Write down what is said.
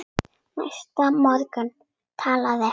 Næsta morgun talaði